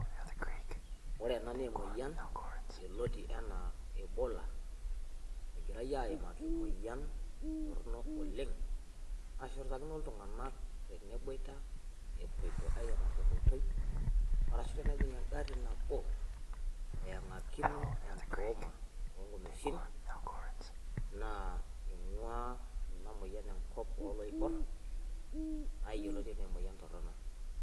Ore ena naa emoyian yoloti enaa ebola, egirai aimaki emoyian toronok oleng' nashurtakino iltung'anak teneboita epoito airiamari tenkoitoi, arasu tenejing' engari nabo eeng'akino entooma o nkumeshin naa ing'ua ina moyian enkop oloibor naa yoloti enaa emoyian torono.